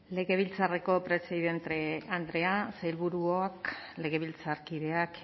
legebiltzarreko presidente andrea sailburuok legebiltzarkideak